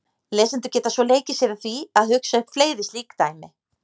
Lesendur geta svo leikið sér að því að hugsa upp fleiri slík dæmi.